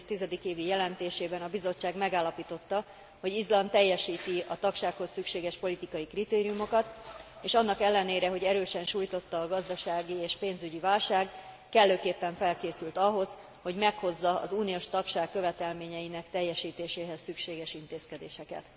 2010. évi jelentésében a Bizottság megállapította, hogy Izland teljesíti a tagsághoz szükséges politikai kritériumokat, és annak ellenére, hogy erősen sújtotta a gazdasági és pénzügyi válság, kellőképpen felkészült ahhoz, hogy meghozza az uniós tagság követelményeinek teljesítéséhez szükséges intézkedéseket.